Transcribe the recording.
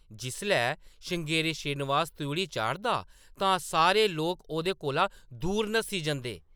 जिसलै श्रृंगेरी श्रीनिवास त्रिउढ़ी चाढ़दा तां सारे लोक ओह्‌दे कोला दूर नस्सी जंदे ।